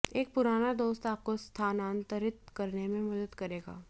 एक पुराना दोस्त आपको स्थानांतरित करने में मदद करेगा